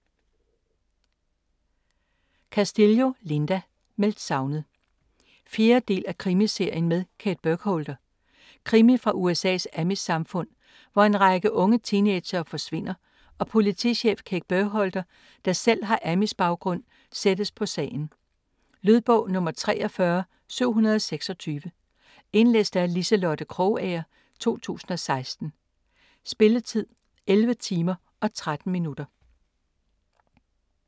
Castillo, Linda: Meldt savnet 4. del af Krimiserien med Kate Burkholder. Krimi fra USA's amish-samfund, hvor en række unge teenagere forsvinder og politichef Kate Burkholder, der selv har amish-baggrund, sættes på sagen. Lydbog 43726 Indlæst af Liselotte Krogager, 2016. Spilletid: 11 timer, 13 minutter.